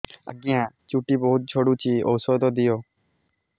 ଆଜ୍ଞା ଚୁଟି ବହୁତ୍ ଝଡୁଚି ଔଷଧ ଦିଅ